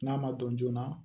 N'a ma dɔn joona